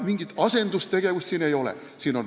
Mingit asendustegevust siin ei ole.